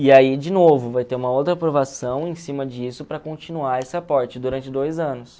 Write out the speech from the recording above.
E aí, de novo, vai ter uma outra aprovação em cima disso para continuar esse aporte durante dois anos.